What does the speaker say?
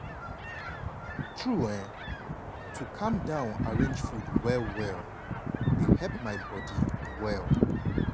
true[um]to calm down arrange food well well dey help my body dey well.